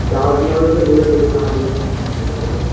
কাজ না হলে তো সে বলে দেবে কাজ হয়েনি আমি কি করবো বলো